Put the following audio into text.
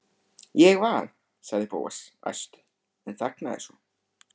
Ég var. sagði Bóas æstur en þagnaði svo.